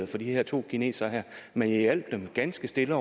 for de her to kinesere men jeg hjalp dem ganske stille